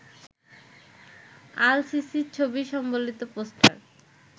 আল-সিসির ছবি সম্বলিত পোস্টার